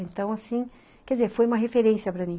Então assim, quer dizer, foi uma referência para mim.